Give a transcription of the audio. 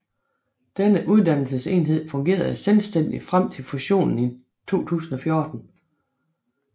Denne uddannelsesenhed fungerede selvstændigt frem til fusionen i 2014